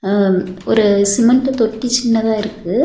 ம் ஒரு சிமெண்ட்டு தொட்டி சின்னதா இருக்கு.